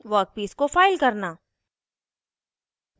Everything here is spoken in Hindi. वर्कपीस को फाइल करना